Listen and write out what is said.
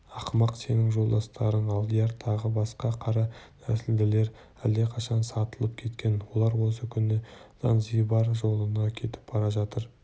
ақымақ сенің жолдастарың алдияр тағы басқа қара нәсілділер әлдеқашан сатылып кеткен олар осы күні занзибар жолында кетіп бара жатыр